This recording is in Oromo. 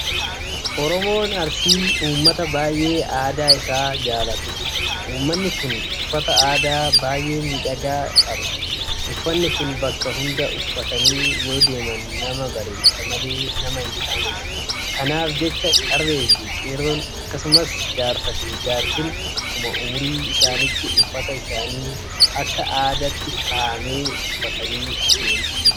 Oromoon Arsii uummata baay'ee aadaa isaa jaalatudha. Uummanni kun uffata aadaa baay'ee miidhagaa qaba. Uffanni kun bakka hunda uffatanii yoodeeman nama bareecha malee nama hinqaanessu. Kanaaf jecha Qarreefi Qeerroon akkasumas Jaarsaafi Jaartiin akkuma ummurii isaaniitti uffata isaaniif akka aadaatti kaa'ame uffatanii adeemu.